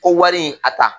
Ko wari in a ta